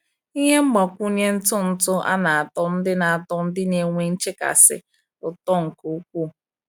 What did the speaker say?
Ihe mgbakwunye ntụ ntụ a na-atọ ndị na-atọ ndị na-enwe nchekasị ụtọ nke ukwuu.